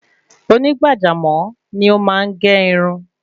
Oní gbàjámò ni o máa n ge irun